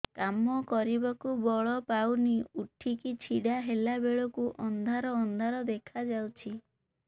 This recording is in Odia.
କାମ କରିବାକୁ ବଳ ପାଉନି ଉଠିକି ଛିଡା ହେଲା ବେଳକୁ ଅନ୍ଧାର ଅନ୍ଧାର ଦେଖା ଯାଉଛି